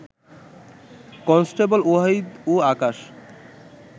constable Wahid ও আকাশ